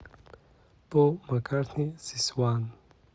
пол маккартни зис уан